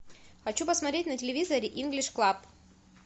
хочу посмотреть на телевизоре инглиш клаб